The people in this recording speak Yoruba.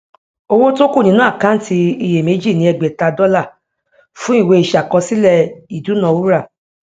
owó tó kú nínú àkáǹtí iyèméjì ni ẹgbèta dọlà fún ìwé iṣàkọsílẹ ìdúnaúrà